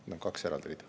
Need on kaks eraldi rida.